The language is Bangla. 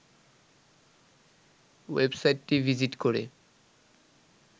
ওয়েবসাইটটি ভিজিট করে